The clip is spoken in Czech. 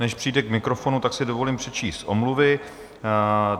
Než přijde k mikrofonu, tak si dovolím přečíst omluvy.